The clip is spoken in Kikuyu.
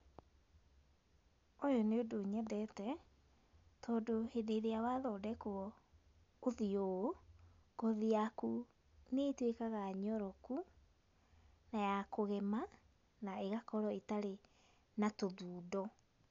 Ũyũ nĩ ũndũ nyendete tondũ hĩndĩ ĩrĩa wathondekwo ũthiũ ũũ ,ngothi nĩtuĩkaga nyoroku na yakũgema na ĩgakorwo ĩtarĩ na tũthundo.